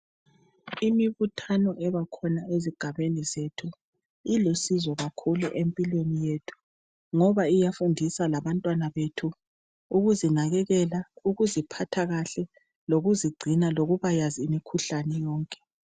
Imibuthano ebakhona ezigabeni zethu ilusizo kakhulu empilweni yethu ngoba iyafundisa labantwana bethu ukuzinakekela, ukuziphatha kahle lokuzigcina lokubayazi imikhuhlane yonke.